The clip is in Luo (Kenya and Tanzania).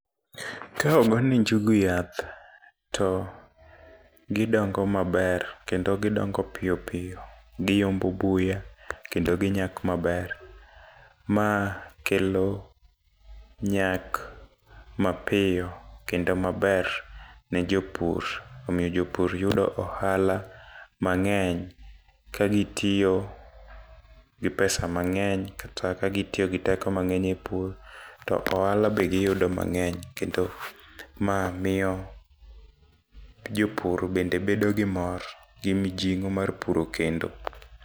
Ka omany ne njugu yath to gidongo maber kendo gidongo piyo piyo , giyombo buya kendo ginyak maber. Ma kelo nyak mapiyo kendo maber ne jopur omiyo jopur yudo ohala mang'eny .Ka gitiyo gi pesa mang'eny kata ka gitiyo gi teko mangeny e pur to ohala be giyudo mang'eny . Kendo ma miyo jopur bende bedo gi mor gi mijing'o mar puro kendo.